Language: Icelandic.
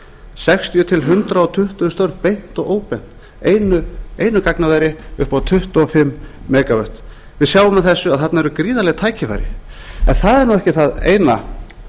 sextíu til hundrað tuttugu störf beint og óbeint einu gagnaveri upp á tuttugu og fimm megavött við sjáum af þessu að þarna eru gríðarleg tækifæri en það er nú ekki það eina